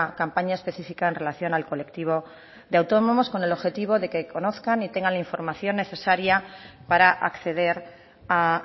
campaña específica en relación al colectivo de autónomos con el objetivo de que conozcan y tengan la información necesaria para acceder a